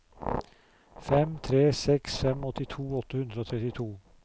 fem tre seks fem åttito åtte hundre og trettito